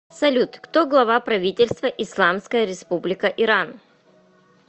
салют кто глава правительства исламская республика иран